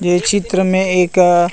ये चित्र में एक--